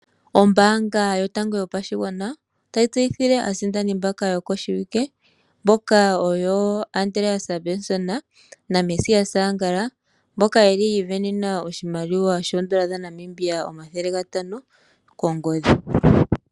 Ombaanga yotango yopashigwana otayi tseyithile aasindani mbaka yokoshiwike mboka oyo Andreas Benson na Mesias Angala mboka yeli yiivenena oshimaliwa N$ 500 kongodhi.